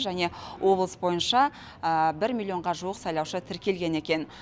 және облыс бойынша бір миллионға жуық сайлаушы тіркелген екен